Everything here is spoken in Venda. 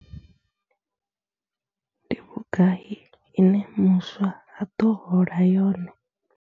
Ndi vhugai ine muswa a ḓo hola yone?